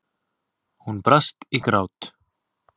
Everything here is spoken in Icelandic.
Hún brast í grát.